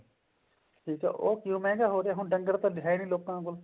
ਠੀਕ ਆ ਉਹ ਕਿਉਂ ਮਹਿੰਗਾ ਹੋ ਰਿਹਾ ਹੁਣ ਡੰਗਰ ਤਾਂ ਹੈ ਨੀ ਲੋਕਾਂ ਕੋਲ